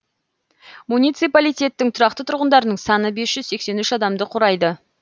муниципалитеттің тұрақты тұрғындарының саны бес жүз сексен үш адамды құрайды